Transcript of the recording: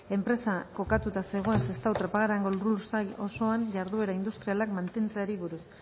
enpresa kokatuta zegoen sestao trapagarango lursail osoan jarduera industrialak mantentzeari buruz